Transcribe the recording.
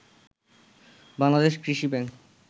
বাংলাদেশ কৃষি ব্যাংক